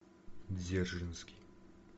дзержинский